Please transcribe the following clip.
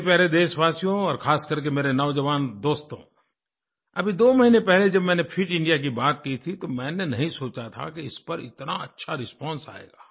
मेरे प्यारे देशवासियो और ख़ासकर के मेरे नौजवान दोस्तो अभी दो महीने पहले जब मैंने फिट इंडिया की बात की थी तो मैंने नहीं सोचा था कि इस पर इतना अच्छा रिस्पांस आएगा